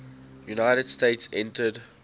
united states entered